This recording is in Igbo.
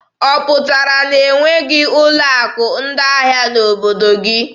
Ọ pụtara na e nweghị ụlọ akụ ndị ahịa n'obodo gị.